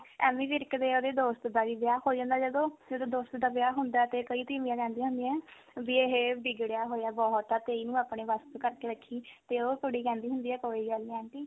ਐਮੀ ਵਿਰਕ ਦੇ ਉਹਦੇ ਦੋਸਤ ਦਾ ਵੀ ਵਿਆਹ ਹੋ ਜਾਂਦਾ ਜਦੋਂ ਜਦੋਂ ਦੋਸਤ ਦਾ ਵਿਆਹ ਹੁੰਦਾ ਤੇ ਕਈ ਤੀਵੀਆਂ ਕਹਿੰਦੀਆਂ ਹੁੰਦੀਆਂ ਵੀ ਇਹ ਵਿਗੜਿਆ ਹੋਇਆ ਬਹੁਤ ਆ ਤੇ ਇਹਨੂੰ ਆਪਣੇ ਵਸ ਚ ਕਰਕੇ ਰੱਖੀ ਤੇ ਉਹ ਕੁੜੀ ਕਹਿੰਦੀ ਆ ਕੋਈ ਗੱਲ ਨਹੀਂ aunty